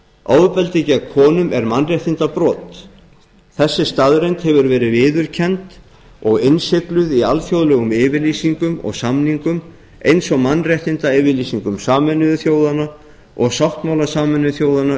ofbeldi gegn konum er mannréttindabrot þessi staðreynd hefur gerð viðurkennd og innsigluð í alþjóðlegum yfirlýsingum og samningum eins og mannréttindayfirlýsingu sameinuðu þjóðanna og sáttmála sameinuðu þjóðanna